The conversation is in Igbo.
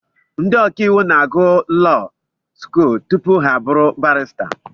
Ndị ọkàiwu na-agụ law skuul tupu ha abụrụ barịsta